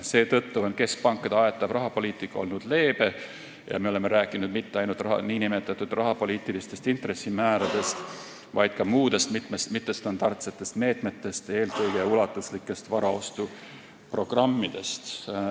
Seetõttu on keskpankade aetav rahapoliitika olnud leebe ja me oleme rääkinud mitte ainult nn rahapoliitilistest intressimääradest, vaid ka muudest mittestandardsetest meetmetest, eelkõige ulatuslikest varaostuprogrammidest.